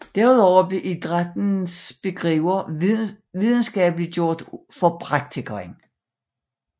Desuden blev idrættens begreber videnskabeliggjort for praktikeren